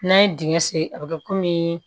N'an ye dingɛ sen a bi kɛ